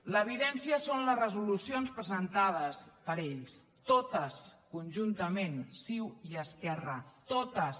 l’evidència són les resolucions presentades per ells totes conjuntament ciu i esquerra totes